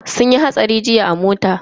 Sun yi hatsari jiya a mota.